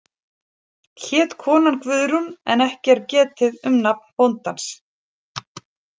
Hét konan Guðrún en ekki er getið um nafn bóndans.